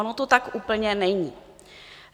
Ono to tak úplně není.